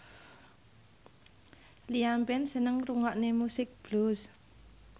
Liam Payne seneng ngrungokne musik blues